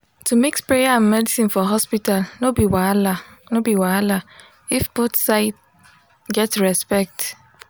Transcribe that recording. to mix prayer and medicine for hospital no be wahala no be wahala if both side get respect